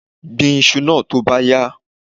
Gbin iṣu náà tó bá yá!